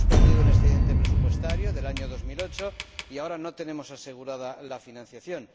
Primero, hemos perdido un excedente presupuestario del año 2008 y ahora no tenemos asegurada la financiación.